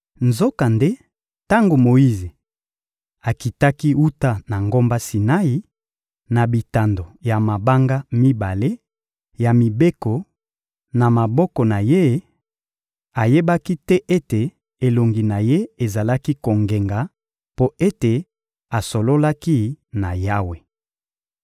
Nzokande, tango Moyize akitaki wuta na ngomba Sinai, na bitando ya mabanga mibale ya mibeko na maboko na ye, ayebaki te ete elongi na ye ezalaki kongenga, mpo ete asololaki na Yawe.